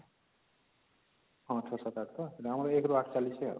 ହଁ ୬ ୭ ୮ ତ ଆମର ୧ ରୁ ୮ ତକ ଚାଲିଛି